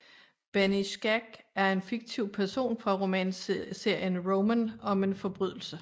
Benny Skacke er en fiktiv person fra romanserien Roman om en forbrydelse